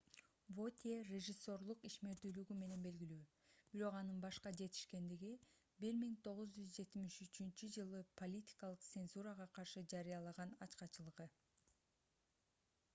вотье режиссерлук ишмердүүлүгү менен белгилүү бирок анын башка жетишкендиги - 1973-ж политикалык цензурага каршы жарыялаган ачкачылыгы